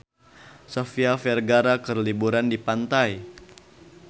Sofia Vergara keur liburan di pantai